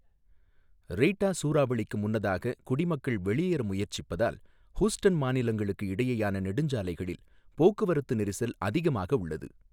Rita சூறாவளிக்கு முன்னதாக குடிமக்கள் வெளியேற முயற்சிப்பதால், ஹூஸ்டன் மாநிலங்களுக்கு இடையேயான நெடுஞ்சாலைகளில் போக்குவரத்து நெரிசல் அதிகமாக உள்ளது.